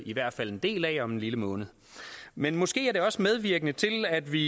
i hvert fald en del af om en lille måned men måske kan det også medvirke til at vi